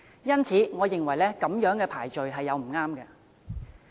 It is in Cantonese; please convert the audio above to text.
因此，我認為這樣子排序並不恰當。